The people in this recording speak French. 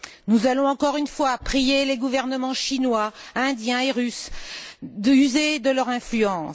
Nous allons encore une fois prier les gouvernements chinois, indien et russe d'user de leur influence.